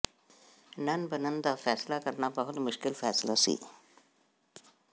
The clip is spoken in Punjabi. ਨਨ ਬਣਨ ਦਾ ਫੈਸਲਾ ਕਰਨਾ ਬਹੁਤ ਮੁਸ਼ਕਲ ਫ਼ੈਸਲਾ ਸੀ